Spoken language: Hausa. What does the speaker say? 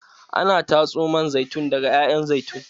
Ana tatso man zaitun daga ƴaƴan zaitun.